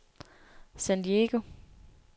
San Diego